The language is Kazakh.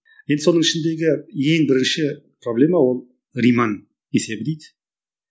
енді соның ішіндегі ең бірінші проблема ол риман есебі дейді